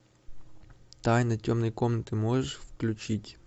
тайны темной комнаты можешь включить